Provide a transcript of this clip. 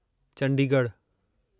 चंडीगढ़ु